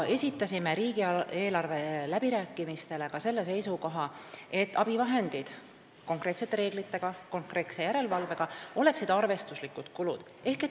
Esitasime riigieelarve läbirääkimistel ka selle seisukoha, et abivahendid – konkreetsete reeglite ja konkreetse järelevalvega – oleksid arvestuslikud kulud.